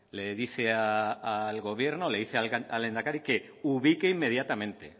le dice al gobierno le dice al lehendakari que ubique inmediatamente